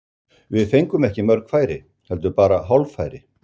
Við fengum ekki mörg færi, heldur bara hálffæri.